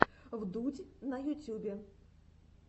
вдудь на ютубе